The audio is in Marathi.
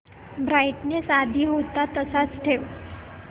ब्राईटनेस आधी होता तसाच ठेव